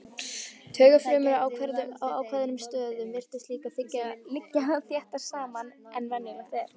Taugafrumur á ákveðnum stöðum virtust líka liggja þéttar saman en venjulegt er.